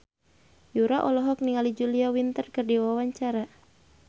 Yura olohok ningali Julia Winter keur diwawancara